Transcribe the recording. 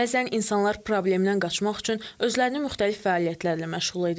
Bəzən insanlar problemdən qaçmaq üçün özlərini müxtəlif fəaliyyətlərlə məşğul edirlər.